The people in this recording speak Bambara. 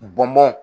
Bɔn bɔn